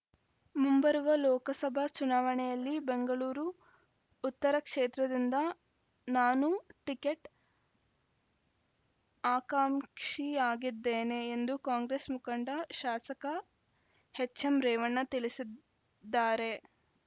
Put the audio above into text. ಮುಂಬರುವ ಲೋಕಸಭಾ ಚುನಾವಣೆಯಲ್ಲಿ ಬೆಂಗಳೂರು ಉತ್ತರ ಕ್ಷೇತ್ರದಿಂದ ನಾನೂ ಟಿಕೆಟ್‌ ಆಕಾಂಕ್ಷಿಯಾಗಿದ್ದೇನೆ ಎಂದು ಕಾಂಗ್ರೆಸ್‌ ಮುಖಂಡ ಶಾಸಕ ಎಚ್‌ಎಂ ರೇವಣ್ಣ ತಿಳಿಸಿದ್ದಾರೆ